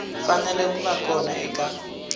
fanele ku va kona eka